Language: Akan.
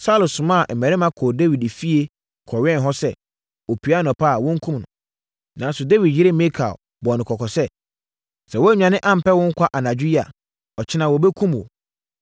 Saulo somaa mmarima kɔɔ Dawid fie kɔwɛn hɔ sɛ, ɔpue anɔpa a wɔnkum no. Nanso, Dawid yere Mikal bɔɔ no kɔkɔ sɛ, “Sɛ woannwane ampɛ wo nkwa anadwo yi a, ɔkyena, wɔbɛkum wo.”